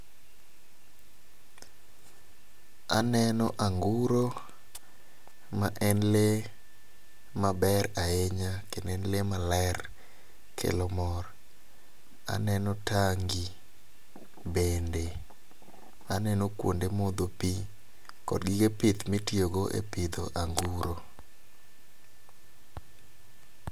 Aneno anguro ma en lee maber ahinya kendo en lee maler kelo mor ,aneno tangi bende ,aneno kuonde modho pii kod gige pith mitiyo go e pidho anguro